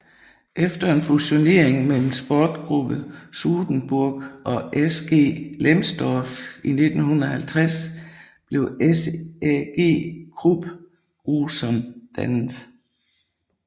Efter en fusionering mellem Sportgruppe Sudenburg og SG Lemsdorf i 1950 blev SAG Krupp Gruson dannet